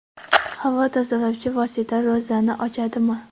Havo tozalovchi vosita ro‘zani ochadimi?.